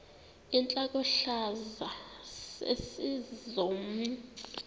intlokohlaza sesisaz omny